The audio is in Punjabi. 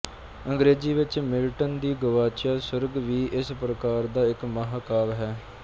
ਅੰਗਰੇਜ਼ੀ ਵਿੱਚ ਮਿਲਟਨ ਦੀ ਗੁਆਚਿਆ ਸੁਰਗ ਵੀ ਇਸ ਪ੍ਰਕਾਰ ਦਾ ਇੱਕ ਮਹਾਕਾਵਿ ਹੈ